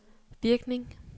virkning